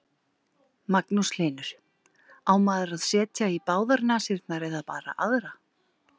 Magnús Hlynur: Á maður að setja í báðar nasirnar eða bara aðra?